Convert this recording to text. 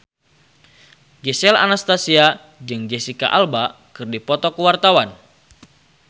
Gisel Anastasia jeung Jesicca Alba keur dipoto ku wartawan